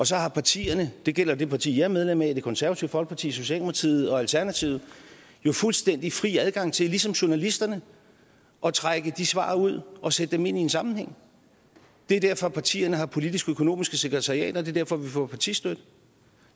så har partierne det gælder det parti jeg er medlem af og det konservative folkeparti socialdemokratiet og alternativet jo fuldstændig fri adgang til ligesom journalisterne at trække de svar ud og sætte dem ind i en sammenhæng det er derfor partierne har politiks økonomiske sekretariater og det er derfor vi får partistøtte